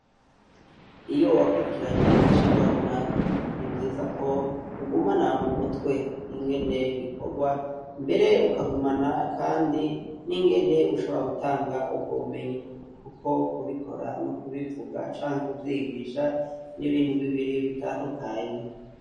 Iyo wakurikiranye icigwa runaka, ni vyiza ko ugumana mu mutwe ingene bikorwa, mbere ukagumana kandi n'ingene ushobora gutanga ubwo bumenyi. Kuko kubikora no kubivuga canke kuvyigisha, ni ibintu bibiri bitandukanye.